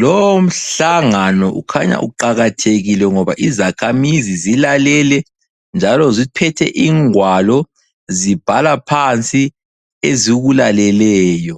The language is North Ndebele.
lowomhlangano ukhanya uqakathekile ngoba izakhamizi zilalele njalo ziphethe ingwalo zibhala phansi ezikulaleleyo.